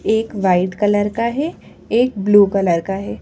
एक white colour का है एक ब्लू कलर का है।